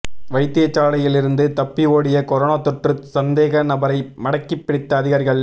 வைத்தியசாலையில் இருந்து தப்பி ஓடிய கொரோனா தொற்று சந்தேகநபரை மடக்கிப் பிடித்த அதிகாரிகள்